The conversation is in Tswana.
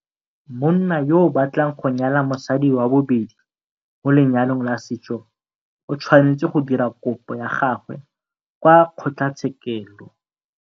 Monna yo a batlang go nyala mosadi wa bobedi mo lenyalong la setso o tshwanetse go dira kopo ya gagwe kwa kgotlatshekelo.